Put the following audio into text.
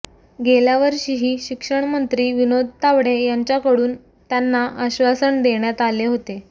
गेल्यावर्षीही शिक्षणमंत्री विनोद तावडे यांच्याकडून त्यांना आश्वासन देण्यात आले होते